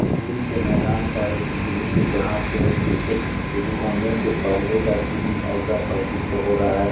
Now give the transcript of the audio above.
School के मैदान का एक दृश्य जहां पे क्रिकेट शुरू होने के पहले का सीन ऐसा प्रतीत हो रहा है।